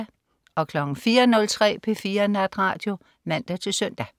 04.03 P4 Natradio (man-søn)